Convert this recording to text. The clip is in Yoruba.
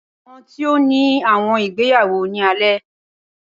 Awọn ti o ni awọn igbeyawo ni alẹ.